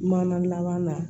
Mana laban na